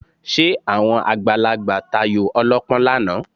Ṣé àwọn àgbàlagbà tayò ọlọ́pọ́n lánàá?